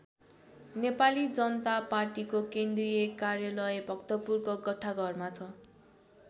नेपाली जनता पार्टीको केन्द्रीय कार्यालय भक्तपुरको गट्ठाघरमा छ।